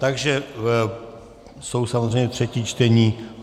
Takže jsou samozřejmě třetí čtení.